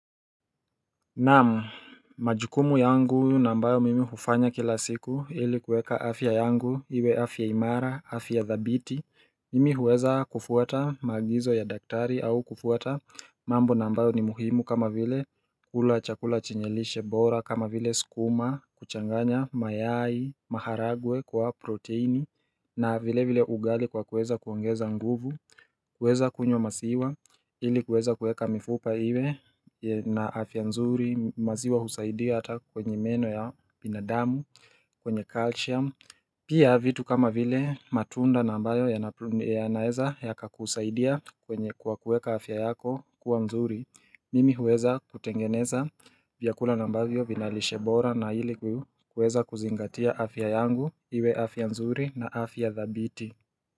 Naam majukumu yangu na ambayo mimi hufanya kila siku ili kueka afya yangu iwe afya imara afya dhabiti Mimi huweza kufuata magizo ya daktari au kufuata mambo na ambayo ni muhimu kama vile kula chakula chenye lishe bora kama vile sukuma kuchanganya mayai maharagwe kwa proteini na vile vile ugali kwa kuweza kuongeza nguvu kuweza kunywa masiwa ili kuweza kuweka mifupa iwe na afya nzuri maziwa husaidia hata kwenye meno ya binadamu kwenye calcium Pia vitu kama vile matunda na ambayo ya naeza yaka kusaidia kwenye kwa kueka afya yako kuwa nzuri Mimi huweza kutengeneza vyakula na ambavyo vina lishe bora na ili kuweza kuzingatia afya yangu iwe afya nzuri na afya dhabiti.